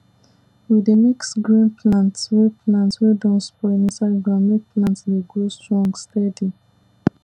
we dey mix green plant wey plant wey don spoil inside ground make plant dey grow strong steady